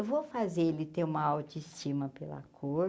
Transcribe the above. Eu vou fazer ele ter uma autoestima pela cor.